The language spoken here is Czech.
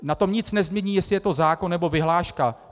Na tom nic nezmění, jestli je to zákon, nebo vyhláška.